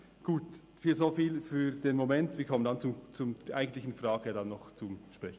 Gut, soviel für den Moment, wir kommen dann noch auf die eigentlichen Fragen zu sprechen.